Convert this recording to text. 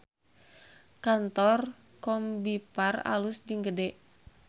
Kantor Combiphar alus jeung gede